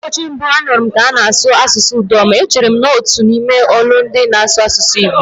Ụbọchị mbụ m nụrụ ka ana-asụ asụsụ Idoma, echere na ọ bụ otu n'ime olundị nọ n'asụsụ Igbo.